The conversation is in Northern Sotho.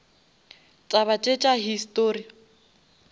taba tše tša histori